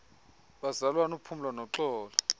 bazalwana uphumlo noxolo